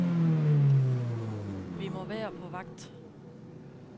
Vi må være på vagt.